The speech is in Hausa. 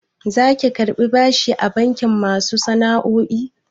Zaki karɓi bashi a bankin masu sana'o'i?